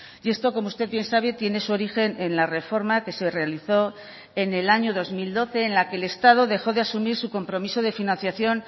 y esto como usted bien sabe tiene su origen en la reforma que se realizó en el año dos mil doce en la que el estado dejó de asumir su compromiso de financiación